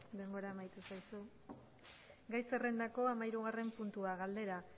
denbora amaitu zaizu gai zerrendako hamahirugarren puntua galdera